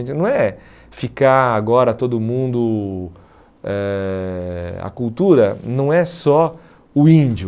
é que Não é ficar agora todo mundo... Eh a cultura não é só o índio.